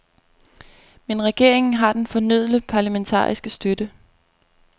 Men regeringen har den fornødne parlamentariske støtte.